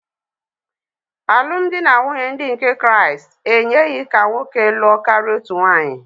Alụmdi na nwunye ndị nke Kraịst enyeghị ka nwoke lụọ karịa otu nwaanyị.